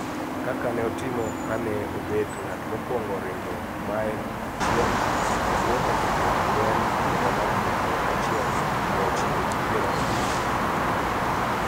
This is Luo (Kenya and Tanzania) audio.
Kaka ne otimo ka ne obet ng`at mokwongo ringo mael chiel e bwo dakika ang`wen hiha mar aluf achiel mia ochiko gi pier abich gi ang`wen